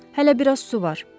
Hələ bir az su var.